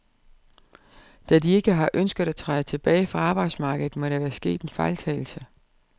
Da de ikke har ønsket at træde tilbage fra arbejdsmarkedet, må der være sket en fejltagelse.